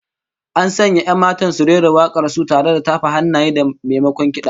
An sanya 'yan matan su rera wak'ar su tare da tafa hannaye, maimakon kid'a